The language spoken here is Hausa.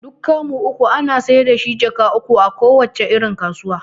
Duk kamu uku ana saida shi jaka uku a kowace irin kasuwa